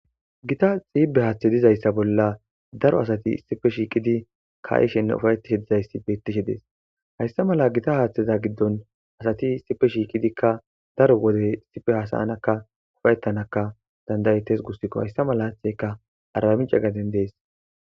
Gita xiibe haaththe dizayssa bolla daro asati sipe shiiqidi ka7ishenne ufayettishe dizayssi bettishe dees hayssa mala gita haaththeza giddon asati sipe shiiqidikka daro wodey sipe hasaanakka ufayettanaka dandayettes gussikko hayssa mala haaththeyka arami cagaden dees